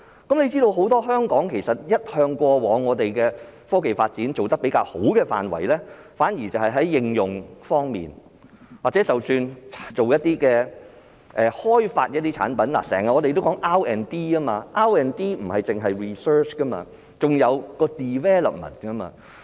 須知道香港過往在科技發展一向做得比較好的範圍，反而是在應用方面，即使是開發一些產品，我們經常說 R&D，R&D 不單是指 research， 還有 development。